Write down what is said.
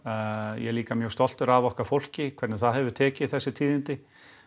ég er líka mjög stoltur af okkar fólki hvernig það hefur tekið þessum tíðindum